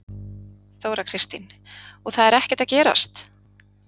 Þóra Kristín: Og það er ekkert að gerast?